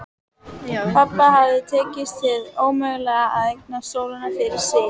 Pabba hafði tekist hið ómögulega: að eignast sólina fyrir sig.